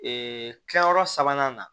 Ee kilayɔrɔ sabanan na